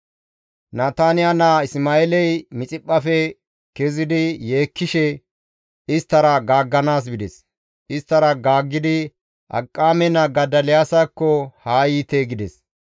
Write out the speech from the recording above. Nataniya naa Isma7eeley Mixiphphafe kezidi yeekkishe isttara gaagganaas bides; isttara gaaggidi, «Akiqaame naa Godoliyaasakko haa yiite» gides.